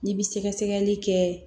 N'i bi sɛgɛsɛgɛli kɛ